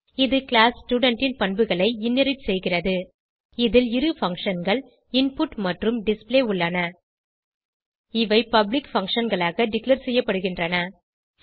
இது class student ன் பண்புகளை இன்ஹெரிட் செய்கிறது இதில் இரு functionகள் இன்புட் மற்றும் டிஸ்ப்ளே உள்ளன இவை பப்ளிக் functionகளாக டிக்ளேர் செய்யப்படுகின்றன